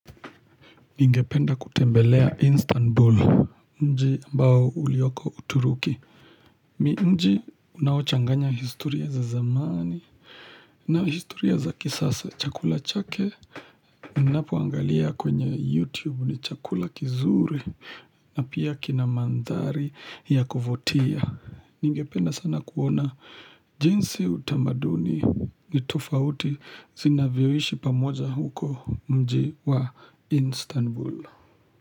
Ningependa kutembelea Istanbul, nji ambao ulioko uturuki. Ni nji unawochanganya historia za zamani na historia za kisasa chakula chake. Unapuangalia kwenye YouTube ni chakula kizuri na pia kina mandhari ya kuvotia. Ningependa sana kuona jinsi utamaduni ni tofauti zinavyoishi pamoja huko mji wa Istanbul.